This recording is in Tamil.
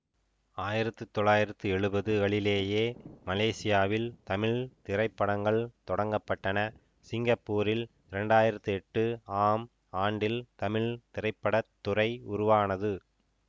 ஆயிரத்தி தொள்ளாயிரத்தி எழுவது களிலேயே மலேசியாவில் தமிழ் திரைப்படங்கள் தொடங்கப்பட்டன சிங்கப்பூரில் இரண்டு ஆயிரத்தி எட்டு ஆம் ஆண்டில் தமிழ் திரைப்பட துறை உருவானது